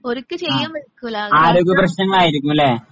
ആഹ് ആരോഗ്യപ്രശ്നങ്ങളായിരിക്കും അല്ലേ?